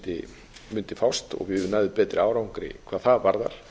lækning mundi fást og við næðum betri árangri hvað það varðar